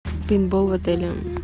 пейнтбол отеля